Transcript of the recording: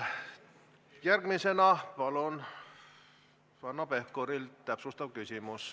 Järgmisena palun Hanno Pevkurilt täpsustav küsimus.